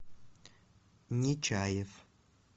нечаев